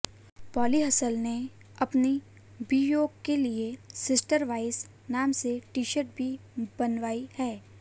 poly हसल ने अपनी बीवियों के लिए सिस्टर वाइव्स नाम से टीशर्ट भी बनवाई हैं